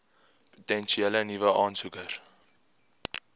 potensiële nuwe aansoekers